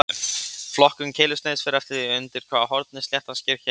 Flokkun keilusniðs fer eftir því undir hvaða horni sléttan sker keiluna.